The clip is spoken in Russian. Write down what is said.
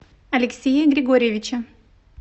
алексея григорьевича